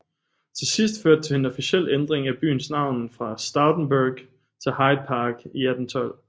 Til sidst første det til en officiel ændring af byens navn fra Stoutenburgh til Hyde Park i 1812